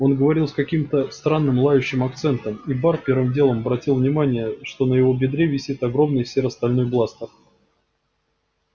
он говорил с каким-то странным лающим акцентом и бар первым делом обратил внимание что на его бедре висит огромный серо-стальной бластер